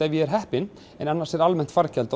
ég er heppinn en almennt fargjald